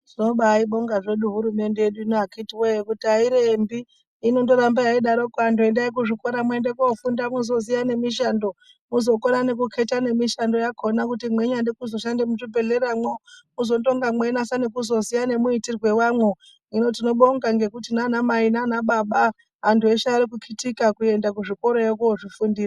Tobaaibonga zvedu hurumende yedu akiti wee, kuti airembi inondoramba yeindodarokwo antu endai kuzvikora muende kofunda muzoziya nemishando muzokona nekuketa nemishando yakona kuti mweinyade kuzoshande muzvibhedhlera mwo. Mwozotonga mweinase kuzoziye nemuitirwo wamwo. Hino tinobonga ngekuti nanamai nanababa antu eshe ari kukitika kuende kuzvikorayo kozvifundira.